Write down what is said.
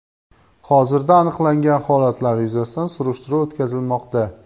Hozirda aniqlangan holatlar yuzasidan surishtiruv o‘tkazilmoqda.